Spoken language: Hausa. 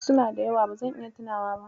Suna da yawa, ba zan iya tunawa ba.